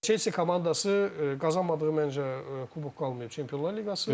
Chelsea komandası qazanmadığı məncə kubok qalmayıb Çempionlar liqası.